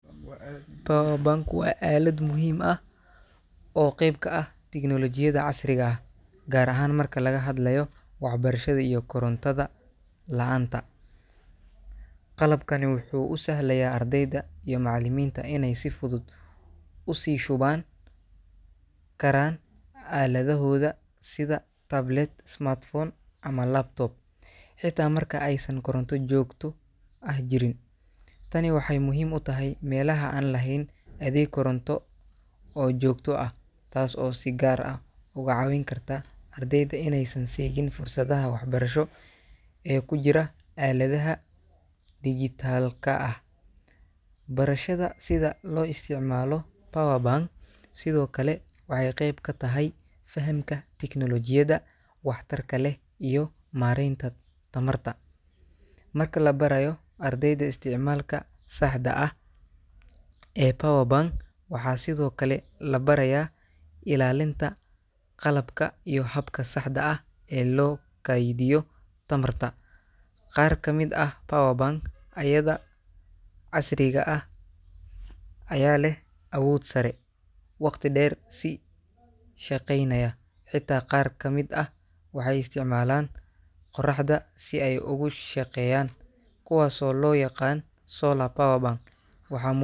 Powerbank waa aalad muhiim ah oo qayb ka ah tignoolajiyada casriga ah, gaar ahaan marka laga hadlayo waxbarashada iyo korontada la'aanta. Qalabkani wuxuu u sahlayaa ardayda iyo macallimiinta inay si fudud u sii shuban karaan aaladahooda sida tablet, smartphone, ama laptop, xitaa marka aysan koronto joogto ah jirin. Tani waxay muhiim u tahay meelaha aan lahayn adeeg koronto oo joogto ah, taas oo si gaar ah uga caawin karta ardayda inaysan seegin fursadaha waxbarasho ee ku jira aaladaha dijitaalka ah. Barashada sida loo isticmaalo powerbank sidoo kale waxay qeyb ka tahay fahamka tignoolajiyada waxtarka leh iyo maaraynta tamarta. Marka la barayo ardayda isticmaalka saxda ah ee powerbank, waxaa sidoo kale la barayaa ilaalinta qalabka iyo habka saxda ah ee loo kaydiyo tamarta. Qaar ka mid ah powerbank-ayada casriga ah ayaa leh awood sare, waqti dheer si shaqeynaya, xitaa qaar ka mid ah waxay isticmaalaan qoraxda si ay ugu shaqeeyaan, kuwaasoo loo yaqaan solar powerbanks. Waxaa mu.